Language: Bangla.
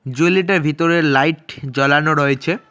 জুয়েলারি -টার ভিতরে লাইট জ্বলানো রয়েছে।